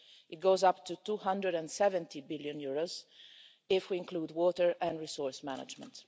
This goes up to EUR 270 billion if we include water and resource management.